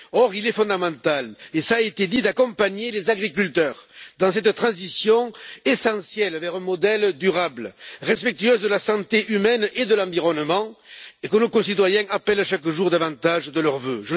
Or, il est fondamental, cela a été dit, d'accompagner les agriculteurs dans cette transition essentielle vers un modèle durable, respectueux de la santé humaine et de l'environnement, et que nos concitoyens appellent chaque jour davantage de leurs vœux.